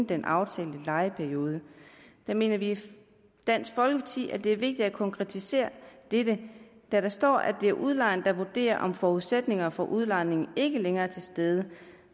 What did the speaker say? den aftalte lejeperiode vi mener i dansk folkeparti at det er vigtigt at konkretisere dette da der står at det er udlejeren der vurderer om forudsætningerne for udlejningen ikke længere er til stede